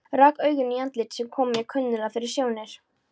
Rak augun í andlit sem kom mér kunnuglega fyrir sjónir.